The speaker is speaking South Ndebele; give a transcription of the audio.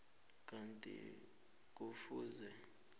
kanti godu kufuze